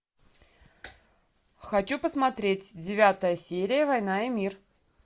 хочу посмотреть девятая серия война и мир